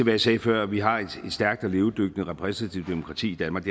jeg sagde før at vi har et stærkt og levedygtigt repræsentativt demokrati i danmark